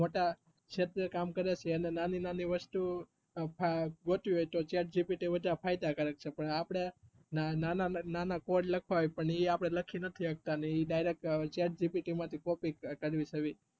શેત્રે કામ કરે છે અને નાની નાની વસ્તુ જોતી હોય તો chatgpt ફાયદાકારક છે પણ આપડે નામા નાના code લખવા હોય તો એ આપડે લખી સકતા નથી એ એ ઈ direct chatgpt માથી copy